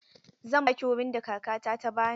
Zan ba ki wurin da Kakata ta ba ni.